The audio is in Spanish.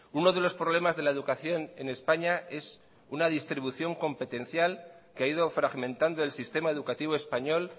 uno de los problemas de la educación en españa es una distribución competencial que ha ido fragmentando el sistema educativo español